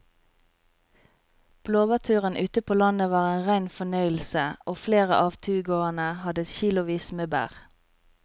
Blåbærturen ute på landet var en rein fornøyelse og flere av turgåerene hadde kilosvis med bær.